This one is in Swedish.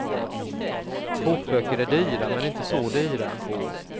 Kokböcker är dyra, men inte så dyra.